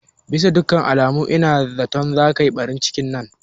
Bisa dukkan alama ina zaton zata yi ɓarin cikin nan